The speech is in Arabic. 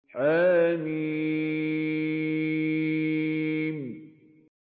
حم